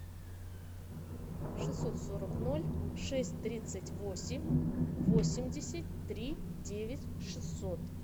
шестьсот сорок ноль шесть тридцать восемь восемьдесят три девять шестьсот